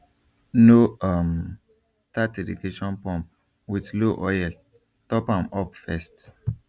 no um start irrigation pump with low oil top am up first